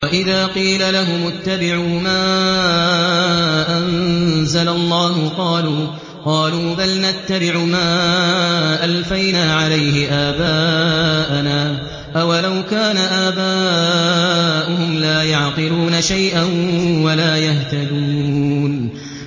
وَإِذَا قِيلَ لَهُمُ اتَّبِعُوا مَا أَنزَلَ اللَّهُ قَالُوا بَلْ نَتَّبِعُ مَا أَلْفَيْنَا عَلَيْهِ آبَاءَنَا ۗ أَوَلَوْ كَانَ آبَاؤُهُمْ لَا يَعْقِلُونَ شَيْئًا وَلَا يَهْتَدُونَ